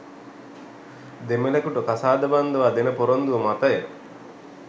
දෙමළෙකුට කසාද බන්දවා දෙන පොරොන්දුව මතය.